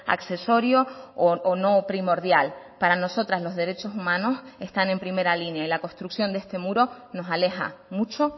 accesorio o no primordial para nosotras los derechos humanos están en primera línea y la construcción de este muro nos aleja mucho